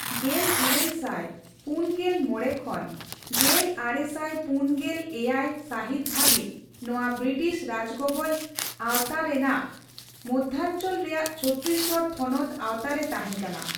ᱜᱮᱞᱤᱨᱟᱹᱞ ᱥᱟᱭ ᱯᱩᱱᱜᱮᱞ ᱢᱚᱲᱮ ᱠᱷᱚᱱ ᱜᱮᱞᱟᱨᱮᱥᱟᱭ ᱯᱩᱱᱜᱮᱞᱮᱭᱟᱭ ᱥᱟᱹᱦᱤᱛ ᱫᱷᱟᱹᱵᱤᱡ ᱱᱚᱣᱟ ᱵᱨᱤᱴᱤᱥ ᱨᱟᱡᱽᱜᱚᱵᱚᱞ ᱟᱣᱛᱟᱨᱮᱭᱟᱜ ᱢᱚᱫᱽᱷᱟᱚᱧᱪᱚᱞ ᱨᱮᱭᱟᱜ ᱪᱷᱚᱛᱤᱥᱜᱚᱲ ᱛᱷᱚᱱᱚᱛ ᱟᱣᱛᱟᱨᱮ ᱛᱟᱦᱮᱸ ᱠᱟᱱᱟ ᱾